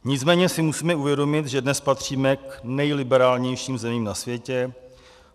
Nicméně si musíme uvědomit, že dnes patříme k nejliberálnějším zemím na světě.